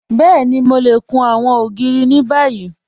Bẹ́ẹ̀ni, Mò lè kùn awọn ogiri ni bàyì.